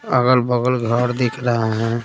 अगल-बगल घर दिख रहा है।